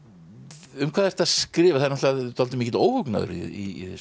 um hvað ertu að skrifa það er dálítið mikill óhugnaður í þessu hjá